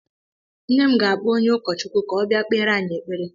Nne m ga-akpọ onye Ụkọchukwu ka ọ bịa kpere anyị ekpere.